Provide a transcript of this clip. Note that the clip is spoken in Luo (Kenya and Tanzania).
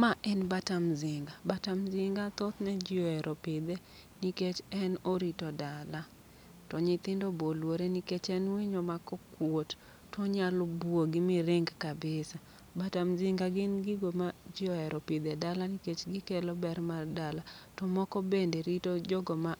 Ma en bata mzinga, bata mzinga thothne ji ohero pidhe nikech en orito dala. To nyithindo boluore nikech en winyo ma kokuot, tonyalo buogi miring kabisa. Bata mzinga gin gigo ma ji ohero pidho e dala nikech gikelo ber mar dala, to moko bende rito jogo ma